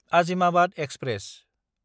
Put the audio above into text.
Azimabad express